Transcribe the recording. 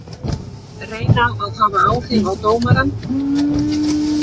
Reyna að hafa áhrif á dómarann